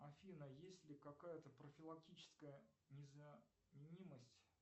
афина есть ли какая то профилактическая незаменимость